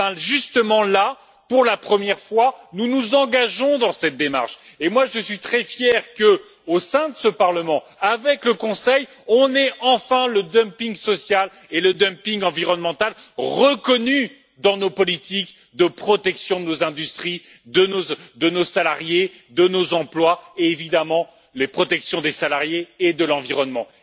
Justement, sur ce point, pour la première fois, nous nous engageons dans cette démarche et je suis très fier que, au sein de ce Parlement, avec le Conseil, nous ayons enfin le dumping social et le dumping environnemental reconnus dans nos politiques de protection de nos industries, de nos salariés, de nos emplois et, évidemment, les protections des salariés et de l'environnement.